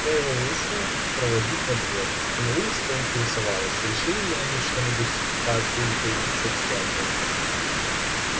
я его вышла проводить во двор и на улице поинтересовалась решили ли они что-нибудь с папулькой насчёт свадьбы